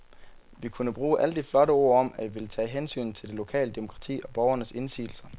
Vi kunne bruge alle de flotte ord om, at vi ville tage hensyn til det lokale demokrati og borgernes indsigelser.